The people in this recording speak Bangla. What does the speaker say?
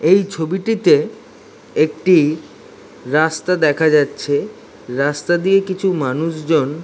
এই ছবিটিতে একটি রাস্তা দেখা যাচ্ছে। রাস্তা দিয়ে কিছু মানুষজন --